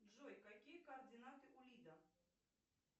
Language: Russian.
джой какие координаты у лида